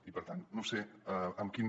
i per tant no sé amb quin